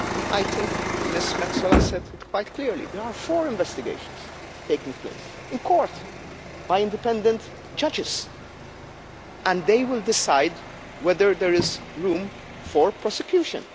I think Ms Metsola said quite clearly there are four investigations taking place in court by independent judges, and they will decide whether there is room for prosecution.